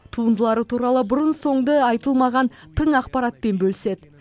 туындылары туралы бұрын соңғы айтылмаған тың ақпаратпен бөліседі